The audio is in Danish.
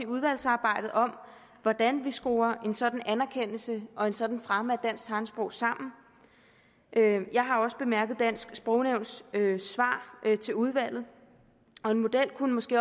udvalgsarbejdet om hvordan vi skruer en sådan anerkendelse og en sådan fremme af dansk tegnsprog sammen jeg har også bemærket dansk sprognævns svar til udvalget og en model kunne måske